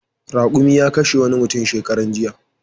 Raƙumi ya kashe wani mutum shekaran jiya.